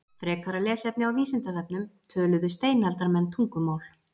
Frekara lesefni á Vísindavefnum: Töluðu steinaldarmenn tungumál?